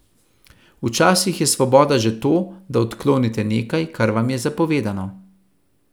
Včasih je svoboda že to, da odklonite nekaj, kar vam je zapovedano.